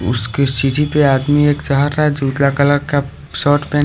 उसके पीछे एक आदमी जा रहा है उजला कलर का शॉर्ट पहने--